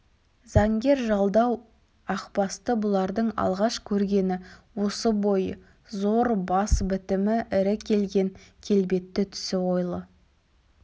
заңгер жалдау ақбасты бұлардың алғаш көргені осы бойы зор бас бітімі ірі келген келбетті түсі ойлы